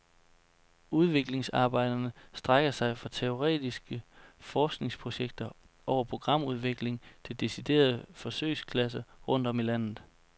Udviklingsarbejderne strækker sig fra teoretiske forskningsprojekter over programudvikling til deciderede forsøgsklasser rundt om i landet.